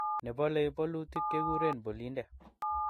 nebolei bolutik kekuren bolinde